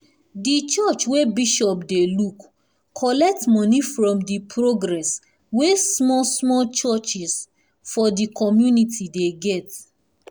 di church wey bishop dey look collect money from di progress wey small small church for di community dey get